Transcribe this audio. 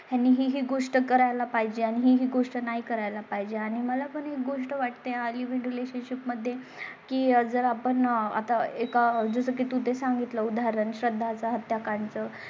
त्यांनी ही गोष्ट करायला पाहिजे आणि ही गोष्ट नाही करायला पाहिजे आणि मला पण ही गोष्ट वाटते. लिव्हिंग रिलेशनशीप मध्ये की जर आपण आता एका जसं की तूं तें सांगितला. उदाहरण श्रद्धा चा हत्याकांड.